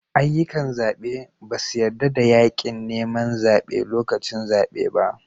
Ayyukan zabe ba su yarda da yakin neman zabe lokacin zabe ba